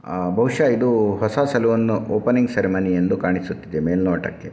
ಅಹ್‌ ಬಹುಷಃ ಇದು ಹೊಸ ಸಲೂನ್ ಓಪನಿಂಗ್ ಸೆರೆಮೊನಿ ಎಂದು ಕಾಣ್ಸ್ತ ಇದೆ ಮೇಲನೋಟಕ್ಕೆ .